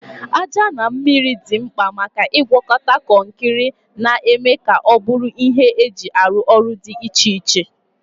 Aja na mmiri dị mkpa maka ịgwakọta kọnkịrị, na-eme ka ọ bụrụ ihe eji arụ ọrụ dị iche iche.